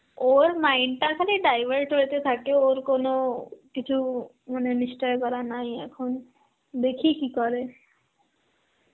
ওর mind টা খালি divert হইতে থাকে, ওর কোন কিছু মানে নিশ্চয় করা নাই এখন, দেখি কি করে.